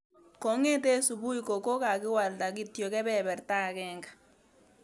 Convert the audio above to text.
kongeten subui ko kakwalda kityok kebeberta agenge.